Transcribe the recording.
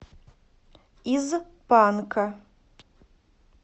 из панка